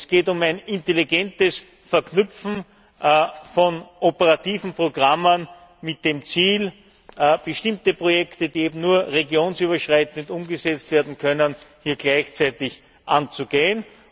Es geht um ein intelligentes Verknüpfen von operativen Programmen mit dem Ziel, bestimmte Projekte, die nur regionenüberschreitend umgesetzt werden können, gleichzeitig anzugehen.